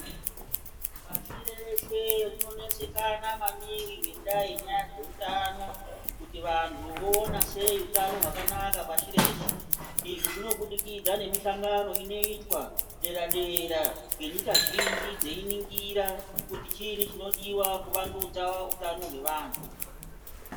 Pashi reshe rinonesekana maningi ngendaa yenyaya dzeutano, kuti vanhu voona sei utano hwakanaka pashi reshe, izvizvinobidikidza ngemihlangano inoitwa dera dera ngenyika zhinji dzeiringira kuti chini chinodiwa kuvandudza utano hwevanhu.